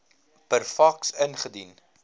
per faks ingedien